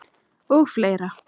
Og fleira.